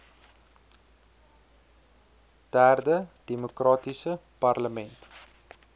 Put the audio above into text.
derde demokratiese parlement